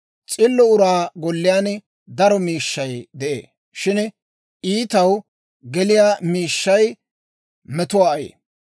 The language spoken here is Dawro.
S'illo uraa golliyaan daro miishshay de'ee; shin iitaw geliyaa miishshay metuwaa ayee.